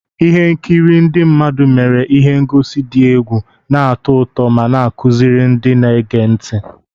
Ihe nkiri ndị mmadụ mere ihe ngosi dị egwu, na-atọ ụtọ ma na-akụziri ndị na-ege ntị.